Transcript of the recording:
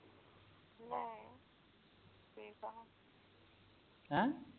ਹੈ